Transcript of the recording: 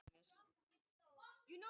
Stuðningsmenn Ali kallast sjítar.